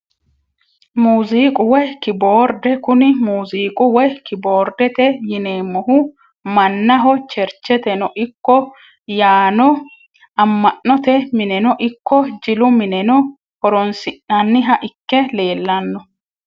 Muuziqa woyi kiboorde kuni muuziqu woyi kiboordete yineemohu manaho chercheteno ikko yaano ama`note mineno ikko jilu mineno horonsinaniha ikke leelano.